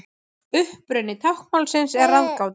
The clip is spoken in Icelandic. Uppruni táknmálsins er ráðgáta.